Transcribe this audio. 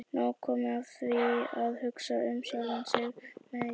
Nóg komið af því að hugsa um sjálfan mig sem illan.